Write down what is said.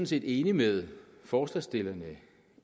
set enige med forslagsstillerne